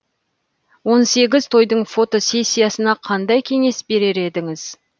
он сегіз тойдың фотосессиясына қандай кеңес берер едіңіз